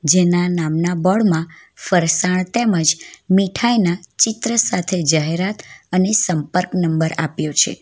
જેના નામના બોર્ડ મા ફરસાણ તેમજ મીઠાઇના ચિત્ર સાથે જાહેરાત અને સંપર્ક નંબર આપ્યો છે.